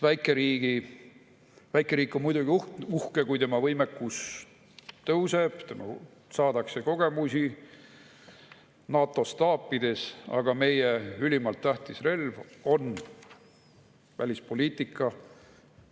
Väikeriik on muidugi uhke, kui tema võimekus, saadakse kogemusi NATO staapides, aga meie ülimalt tähtis relv on välispoliitika.